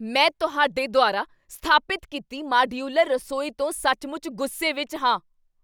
ਮੈਂ ਤੁਹਾਡੇ ਦੁਆਰਾ ਸਥਾਪਿਤ ਕੀਤੀ ਮਾਡਯੂਲਰ ਰਸੋਈ ਤੋਂ ਸੱਚਮੁੱਚ ਗੁੱਸੇ ਵਿੱਚ ਹਾਂ।